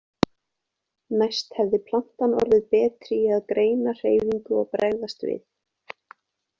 Næst hefði plantan orðið betri í að greina hreyfingu og bregðast við.